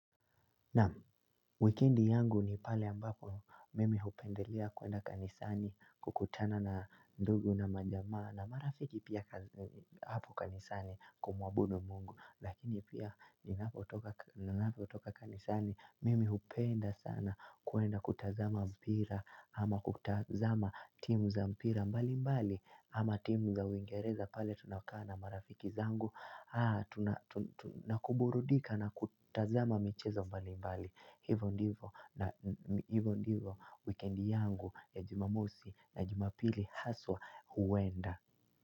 Na wikiendi yangu ni pale ambapo mimi hupendelea kuenda kanisani kukutana na ndugu na majamaa na marafiki pia hapo kanisani kumwabudu mungu lakini pia na hapo toka kanisani mimi hupenda sana kuenda kutazama mpira ama kutazama timu za mpira mbali mbali ama timu za uingereza pale tuna kaa marafiki zangu. Haa tu nakuburudika na kutazama michezo mbali mbali. Hivo ndivo na hivo ndivo weekend yangu ya jimamosi na jimapili haswa huwenda.